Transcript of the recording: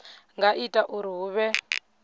nga ita uri hu vhe